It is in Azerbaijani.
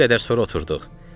Bir qədər sonra oturduq.